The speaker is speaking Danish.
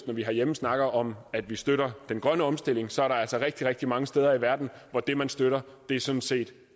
når vi herhjemme snakker om at vi støtter den grønne omstilling så er der altså rigtig rigtig mange steder i verden hvor det man støtter sådan set